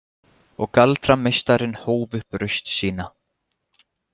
Og galdrameistarinn hóf upp raust sína.